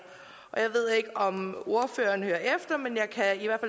og jeg ved ikke om ordføreren hører efter men jeg kan i hvert